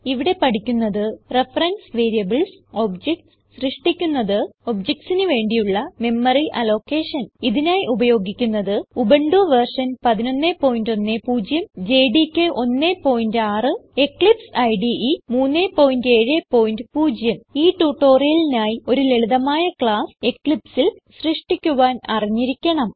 ഇവിടെ പഠിക്കുന്നത് reference variables objects സൃഷ്ടിക്കുന്നത് objectsന് വേണ്ടിയുള്ള മെമ്മറി അലോക്കേഷൻ ഇതിനായി ഉപയോഗിക്കുന്നത് ഉബുന്റു വെർഷൻ 1110 ജെഡികെ 16 എക്ലിപ്സ് ഇടെ 370 ഈ ട്യൂട്ടോറിയലിനായി ഒരു ലളിതമായ ക്ലാസ് Eclipseൽ സൃഷ്ടിക്കുവാൻ അറിഞ്ഞിരിക്കണം